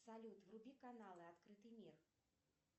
салют вруби каналы открытый мир